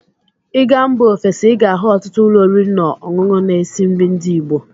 Ị gaa mba ofesi, ị ga-ahụ ọtụtụ ụlọ oriri na ọṅụṅụ na-esi nri ndị igbo.